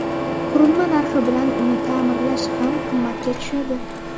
Qurilma narxi bilan uni ta’mirlash ham qimmatga tushadi.